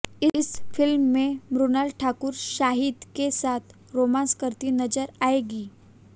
इस फिल्म में मृणाल ठाकुर शाहिद के साथ रोमांस करती नजर आएगी